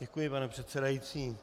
Děkuji, pane předsedající.